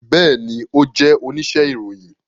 Bẹẹni, o jẹ onise iroyin